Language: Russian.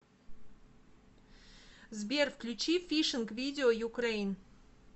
сбер включи фишинг видео юкрэйн